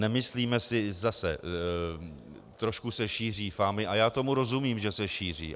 Nemyslíme si zase - trošku se šíří fámy, a já tomu rozumím, že se šíří.